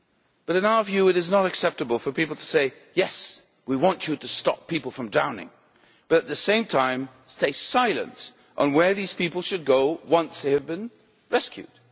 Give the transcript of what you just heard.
But in our view, it is not acceptable for people to say yes, we want you to stop people from drowning', but at the same time stay silent on where these people should go once they have been rescued.